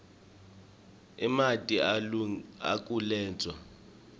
emanti akulendzawo amunyu